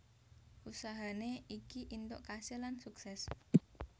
Usahane iki intok kasil lan sukses